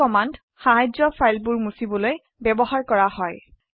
এই কমান্ড সাহায্যে ফাইলবোৰ মুছিবলৈ বয়ৱহাৰ কৰা হয়